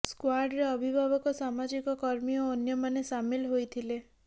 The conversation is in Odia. ସ୍କ୍ୱାର୍ଡରେ ଅଭିଭାବକ ସାମାଜିକ କର୍ମୀ ଓ ଅନ୍ୟମାନେ ସାମିଲ ହୋଇଥିଲେ